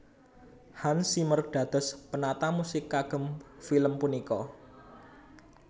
Hans Zimmer dados penata musik kagem film punika